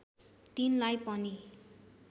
तिनलाई पनि